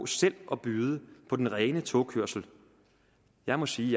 selv at byde på den rene togkørsel jeg må sige